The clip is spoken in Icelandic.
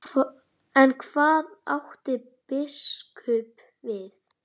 En hvað átti biskup við?